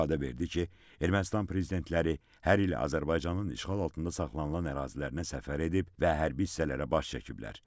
İfadə verdi ki, Ermənistan prezidentləri hər il Azərbaycanın işğal altında saxlanılan ərazilərinə səfər edib və hərbi hissələrə baş çəkiblər.